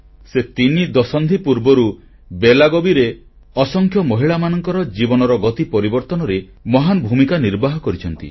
ସେ ତିନି ଦଶନ୍ଧି ପୂର୍ବରୁ ବେଲାଗାଭିରେ ଅସଂଖ୍ୟ ମହିଳାଙ୍କ ଜୀବନର ଗତି ପରିବର୍ତ୍ତନରେ ମହାନ ଭୂମିକା ନିର୍ବାହ କରିଛନ୍ତି